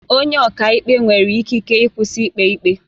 Onye ọka ikpe nwere ikike ịkwụsị ikpe ikpe